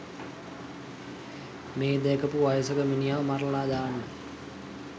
මේ දැකපු වයසක මිනිහව මරලා දාන්න